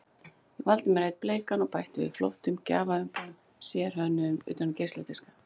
Ég valdi mér einn bleikan og bætti við flottum gjafaumbúðum, sérhönnuðum utan um geisladiska.